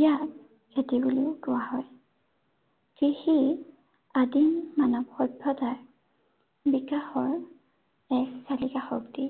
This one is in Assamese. ইয়াক খেতি বুলিও কোৱা হয়। কৃষি, আদিম মানৱ সভ্য়তাৰ বিকাশৰ, এক চালিকা শক্তি।